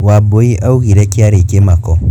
wambui augire kĩarĩ kĩmako,